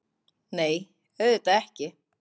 Nei, auðvitað ekki!